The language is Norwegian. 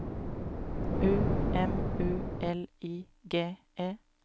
U M U L I G E